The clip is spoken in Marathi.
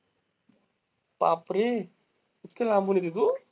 बापरे. इतक्या लांबून येती तू?